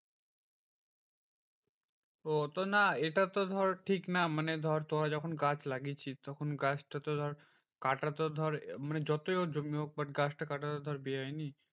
ওহ তো না এটা তো ধর ঠিক না মানে ধর তোরা যখন গাছ লাগিয়েছিস তখন গাছটা তো ধর কাটার তো ধর মানে যতই ওর জমি হোক but গাছটা কাটা তো ধর বেআইনি।